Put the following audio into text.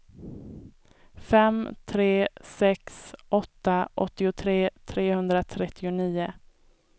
fem tre sex åtta åttiotre trehundratrettionio